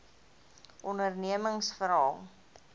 ondernemingsveral